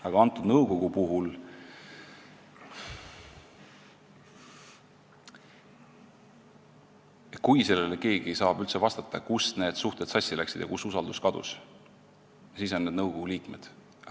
Aga kui antud nõukogu puhul keegi saab üldse vastata, kust alates need suhted sassi läksid ja kus usaldus kadus, siis on need nõukogu liikmed.